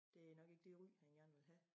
Det nok ikke det ry man gerne vil have